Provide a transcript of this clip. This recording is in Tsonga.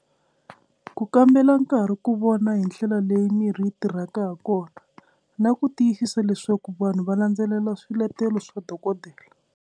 Ku kambela nkarhi ku vona hi ndlela leyi mirhi yi tirhaka ha kona na ku tiyisisa leswaku vanhu va landzelela swiletelo swa dokodela.